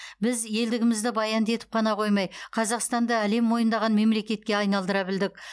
біз елдігімізді баянды етіп қана қоймай қазақстанды әлем мойындаған мемлекетке айналдыра білдік